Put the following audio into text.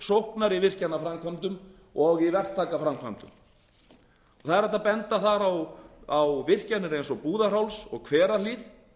sóknar í virkjanaframkvæmdum og í verktakaframkvæmdum það er hægt að benda þar á virkjanir eins og búðarháls og hverahlíð